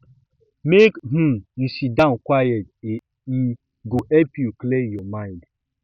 make um you sit down quiet e um go help you clear um your mind